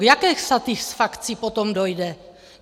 K jaké satisfakci potom dojde?